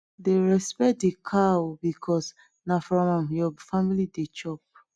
dey respect de cow because na from am your family dey chop